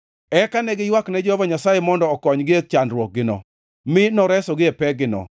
Eka ne giywakne Jehova Nyasaye mondo okonygi e chandruokgino mi noresogi e pekgino.